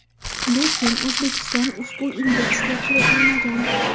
Lekin O‘zbekiston ushbu indeksga kiritilmagan.